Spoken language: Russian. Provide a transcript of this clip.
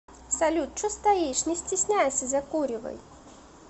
салют че стоишь не стесняйся закуривай